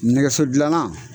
Nɛgɛso dilanna.